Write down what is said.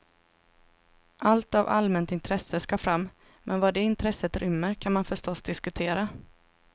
Allt av allmänt intresse ska fram, men vad det intresset rymmer kan man förstås diskutera.